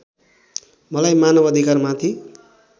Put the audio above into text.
मलाई मानव अधिकारमाथि